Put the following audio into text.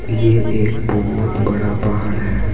ये एक बहोत बड़ा पहाड़ है।